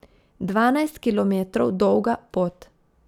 Dvanajst kilometrov dolga pot.